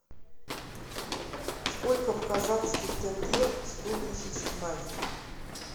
сколько в казахских тенге сто тысяч наир